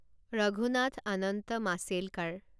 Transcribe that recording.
Raghunath Anant Mashelkar